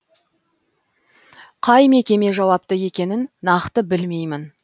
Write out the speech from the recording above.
қай мекеме жауапты екенін нақты білмеймін